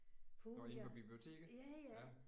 Nåh inde på biblioteket?